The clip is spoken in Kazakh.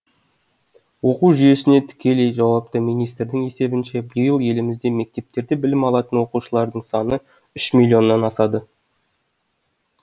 оқу жүйесіне тікелей жауапты министрдің есебінше биыл елімізде мектептерде білім алатын оқушылардың саны үш миллионнан асады